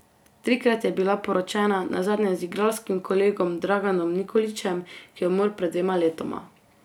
Trikrat je bila poročena, nazadnje z igralskim kolegom Draganom Nikolićem, ki je umrl pred dvema letoma.